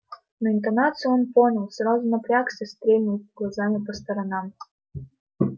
но интонацию он понял сразу напрягся стрельнул глазами по сторонам